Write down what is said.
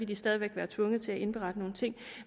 de stadig væk være tvunget til at indberette nogle ting